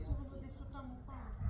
Amma o hardasa o tərəfə.